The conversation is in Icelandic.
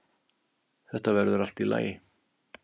Þetta verður allt í lagi.